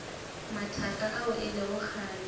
mathaka ao e lego kgale